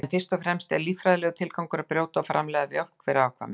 En fyrst og fremst er líffræðilegur tilgangur brjósta að framleiða mjólk fyrir afkvæmi.